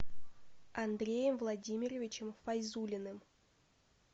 андреем владимировичем файзуллиным